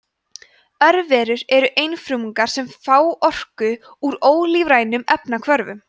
örverur eru einfrumungar sem fá orku úr ólífrænum efnahvörfum